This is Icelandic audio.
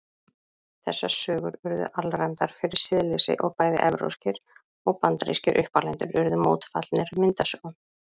Þessar sögur urðu alræmdar fyrir siðleysi og bæði evrópskir og bandarískir uppalendur urðu mótfallnir myndasögum.